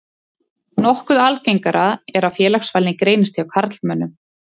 Nokkuð algengara er að félagsfælni greinist hjá karlmönnum.